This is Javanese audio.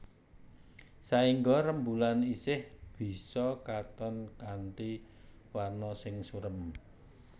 Saéngga rembulan isih bisa katon kanthi warna sing surem